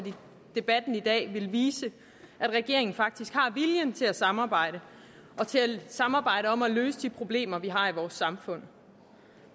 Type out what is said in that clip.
debatten i dag ville vise at regeringen faktisk har viljen til at samarbejde samarbejde om at løse de problemer vi har i vores samfund